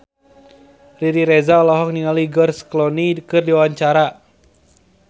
Riri Reza olohok ningali George Clooney keur diwawancara